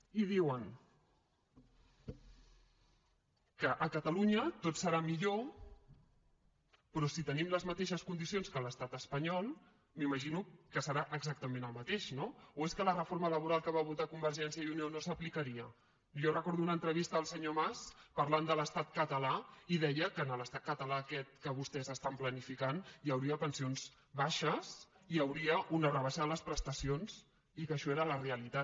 i diuen que a catalunya tot serà millor però si tenim les mateixes condicions que l’estat espanyol m’imagino que serà exactament el mateix no o és que la reforma laboral que va votar convergència i unió no s’aplicaria jo recordo una entrevista del senyor mas parlant de l’estat català i deia que a l’estat català aquest que vostès estan planificant hi hauria pensions baixes hi hauria una rebaixa de les prestacions i que això era la realitat